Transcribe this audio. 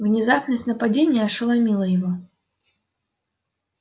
внезапность нападения ошеломила его